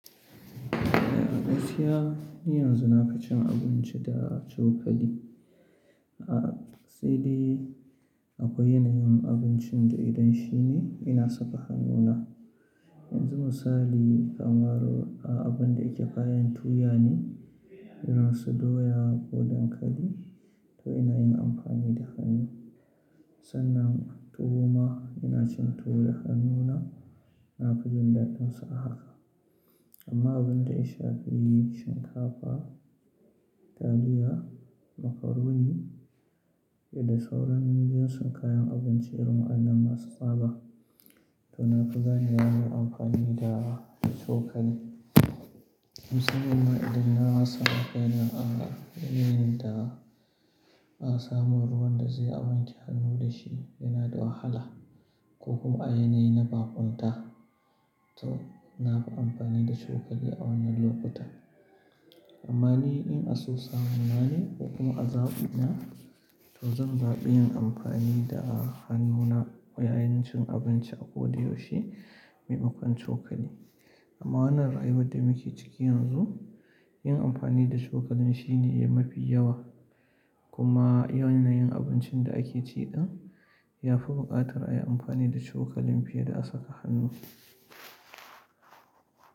Eh gaskiya, ni yanzu na ka cin abinci da cokali. A sai dai akwai yanayin abincin da idan shine ina saka hannuna. Yanzu misali kamar a abun da yake kayan tuya ne, ina so doya ko dankali to ina yin amfani da hannu. Sannan tuwo ma ina cin tuwo da hannuna, na fi jin daɗinsa a haka. Amma abun da ya fi yi shinkafa, taliya, macaroni da sauran manyan sunkayan abinci irin wa'annan masu tsaba to na fi ganewa na yi amfani da, da cokali. Musamman idan na rasa yanayin a, yanayin da a samu ruwan da zai a wanke hannu da shi yana da wahala ko kuma a yanayi na baƙunta to na fi amfani da cokali a wannan lokuta. Amma ni in an so samu nane ko kuma a zaɓi na to zan zaɓi yin amfani da hannuna yayin cin abinci akwai dai shi maimakon cokali. Amma wannan rayuwar da muke ciki yanzu, yin amfani da cokali shine mafi yawa kuma yanayin abincin da ake ci din ya fi buƙatar a yi amfani da cokali fiye da a saka hannu.